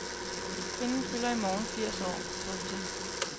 Kvinden fylder i morgen firs år. punktum